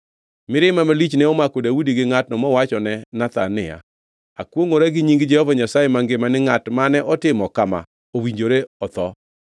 Mirima malich ne omako Daudi gi ngʼatno mowachone Nathan niya, “Akwongʼora gi nying Jehova Nyasaye mangima ni ngʼat mane otimo kama owinjore otho!